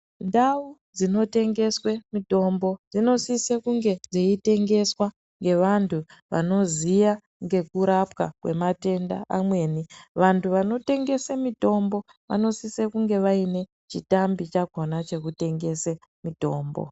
Ndau dzinotengeswe mutombo dzinosise kunge dzeitengeswa ngevantu vanoziya ngekurapwa kwematenda amweni vantu vanotengese mitombo vanosise kunge vaine chitambi chakona chekutengese mitombo.